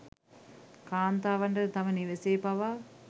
කාන්තාවටද තම නිවෙසේ පවා